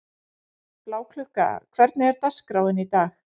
Bláklukka, hvernig er dagskráin í dag?